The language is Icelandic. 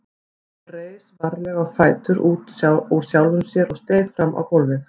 Hann reis varlega á fætur úr sjálfum sér og steig fram á gólfið.